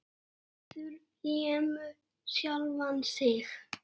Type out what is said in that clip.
Bárður lemur sjálfan sig.